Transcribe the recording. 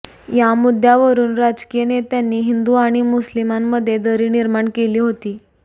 या मुद्दावरुन राजकीय नेत्यांनी हिंदू आणि मुस्लिमांमध्ये दरी निर्माण केली होती